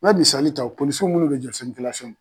N be misali ta polisi minnu be jɔ sirikilasɔn na